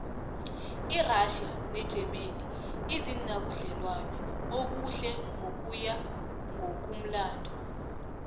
irassia negermany azinabudlelwano obuhle ngokuya ngokumlando